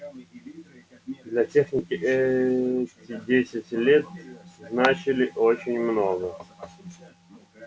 для техники эти десять лет значили очень много